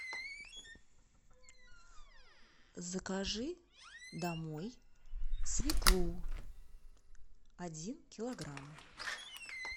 закажи домой свеклу один килограмм